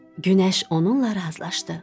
Günəş onunla razılaşdı.